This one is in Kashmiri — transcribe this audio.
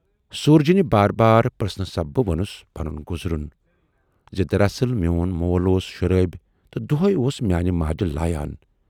سوٗرجنہِ بار بار پرژھنہٕ سببہٕ ووننَس پنُن گُذرُن زِ"دراصل میون مول اوس شرٲبۍ تہٕ دۅہے اوس میانہِ ماجہِ لایان۔